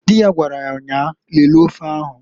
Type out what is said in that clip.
Di ya gwaraya nnyaa, "Lelee ofe ahu"ǃ